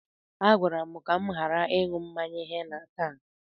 A gwara m ka m ghara ịṅụ henna taa.